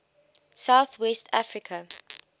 south west africa